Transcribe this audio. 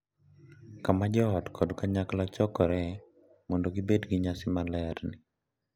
Kama joot kod kanyakla chokore mondo gibed gi nyasi maler ni.